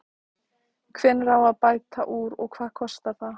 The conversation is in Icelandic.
Hvernig á að bæta úr og hvað kostar það?